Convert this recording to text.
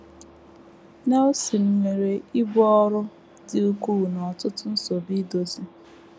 Nelson nwere ibu ọrụ dị ukwuu na ọtụtụ nsogbu idozi.